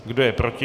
Kdo je proti?